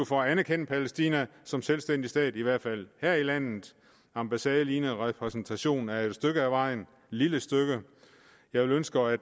for at anerkende palæstina som selvstændig stat i hvert fald her i landet ambassadelignende repræsentation er jo et stykke af vejen et lille stykke jeg ønsker at